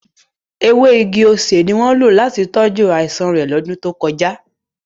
Ewe igi osé ni wọn lo lati tọju aisan re lọdun to koja.